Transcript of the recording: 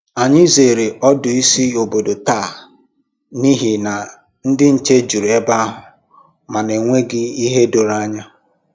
Ànyị zere ọdù ísì ọ̀bòdò taa n’ihi na ndị nche jùrù ebe ahụ ma na enweghị ìhè doro ànyà